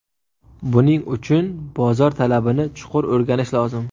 Buning uchun bozor talabini chuqur o‘rganish lozim.